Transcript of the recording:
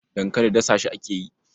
Dankali dasa shi ake yi.